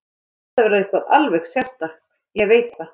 Þetta verður eitthvað alveg sérstakt, ég veit það.